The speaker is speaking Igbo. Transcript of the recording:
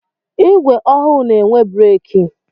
Igwe ọhụụ n'enwe breki.